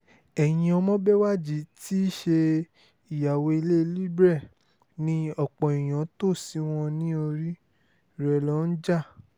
ẹ̀yin ọmọbéwájì tí í ṣe ìyàwó ilé libre ni ọ̀pọ̀ èèyàn tó ṣí wọn ní orí rẹ̀ ló ń jà